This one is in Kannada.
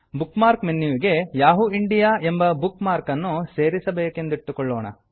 ಬುಕ್ ಮಾರ್ಕ್ ಮೆನ್ಯುವಿಗೆ ಯಹೂ ಇಂಡಿಯಾ ಯಾಹೂ ಇಂಡಿಯಾ ಎಂಬ ಬುಕ್ ಮಾರ್ಕನ್ನು ಸೇರಿಸಬೇಕೆಂದಿಟ್ಟುಕೊಳ್ಳೋಣ